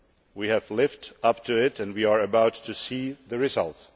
We have lived up to it and we are about to see the results.